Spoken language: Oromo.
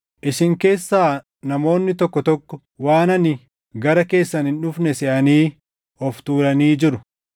Isin keessaa namoonni tokko tokko waan ani gara keessan hin dhufne seʼanii of tuulanii jiru.